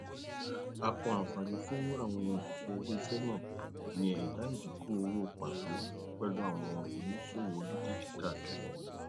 àpọ àǹfààní fún àwọn oṣiṣẹ iléiṣẹ náà ní ẹdá ìdínkù owó pàtó pẹlú àwọn oníṣòwò olókìkí káàkiri ayé